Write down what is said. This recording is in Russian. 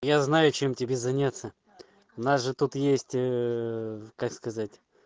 я знаю чем тебе заняться нас же тут есть как сказать